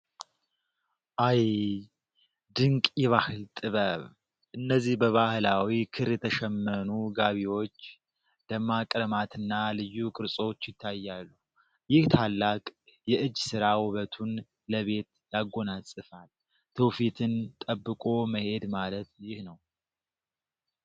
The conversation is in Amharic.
አይይይ! ድንቅ የባህል ጥበብ! እነዚህ በባህላዊ ክር የተሸመኑ ጋቢዎች! ደማቅ ቀለማትና ልዩ ቅርጾች ይታያሉ! ይህ ታላቅ የእጅ ሥራ ውበቱን ለቤት ያጎናጽፋል! ትውፊትን ጠብቆ መሄድ ማለት ይህ ነው!